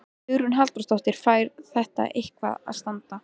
Hugrún Halldórsdóttir: Fær þetta eitthvað að standa?